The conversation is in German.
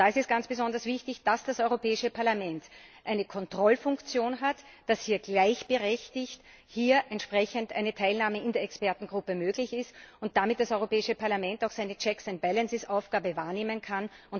Da ist es ganz besonders wichtig, dass das Europäische Parlament eine Kontrollfunktion hat, dass hier gleichberechtigt entsprechend eine Teilnahme in der Expertengruppe möglich ist und damit das Europäische Parlament auch seine Checks and balances Aufgabe wahrnehmen kann.